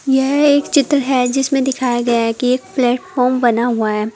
यह एक चित्र है जिसमें दिखाया गया है कि एक प्लेटफार्म बना हुआ है।